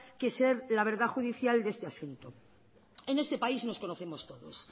que ser la verdad judicial de este asunto en este país nos conocemos todos